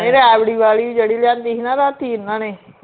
ਇਹ ਰਾਬੜੀ ਵਾਲੀ ਜਿਹੜੀ ਲਿਆਂਦੀ ਹੀ ਨਾ ਰਾਤੀ ਇਹਨਾਂ ਨੇ